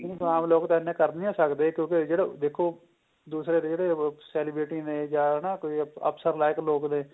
ਆਮ ਲੋਕ ਤਾਂ ਇੰਨੇ ਕਰ ਨਹੀਂ ਨਾ ਸਕਦੇ ਕਿਉਂਕਿ ਜਿਹੜਾ ਦੇਖੋ ਦੂਸਰੇ ਜਿਹੜੇ ਉਹ celebrity ਨੇ ਜਾ ਨਾ ਕੋਈ ਅਫਸਰ like ਲੋਕ ਨੇ